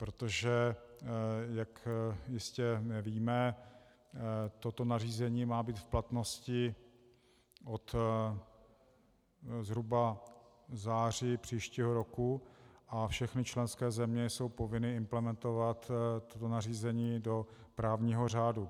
Protože jak jistě víme, toto nařízení má být v platnosti zhruba od září příštího roku a všechny členské země jsou povinny implementovat toto nařízení do právního řádu.